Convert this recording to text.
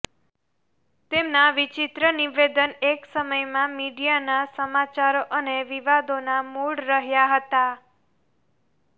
તેમના વિચિત્ર નિવેદન એક સમયમાં મીડિયાના સમાચારો અને વિવાદોના મૂળ રહ્યા હતા